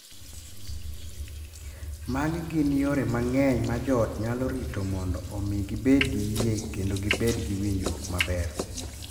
Magi gin yore mang’eny ma joot nyalo rito mondo omi gibed gi yie kendo gibed gi winjruok maber